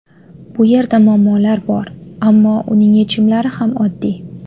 Bu yerda muammolar bor, ammo uning yechimlari ham oddiy.